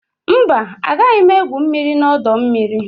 Mba, agaghị m egwu mmiri na ọdọ mmiri